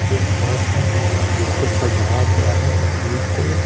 एक बस है जिसको सजाया गया है फूल से।